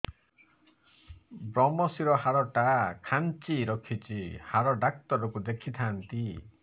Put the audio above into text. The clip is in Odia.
ଵ୍ରମଶିର ହାଡ଼ ଟା ଖାନ୍ଚି ରଖିଛି ହାଡ଼ ଡାକ୍ତର କୁ ଦେଖିଥାନ୍ତି